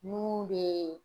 Mun bɛ